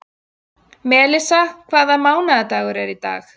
Melissa, hvaða mánaðardagur er í dag?